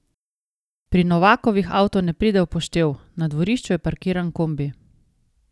Pri Novakovih avto ne pride v poštev, na dvorišču je parkiran kombi.